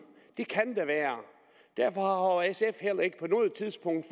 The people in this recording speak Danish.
det kan der være derfor har sf heller ikke på noget tidspunkt